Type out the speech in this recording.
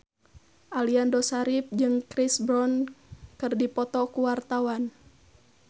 Aliando Syarif jeung Chris Brown keur dipoto ku wartawan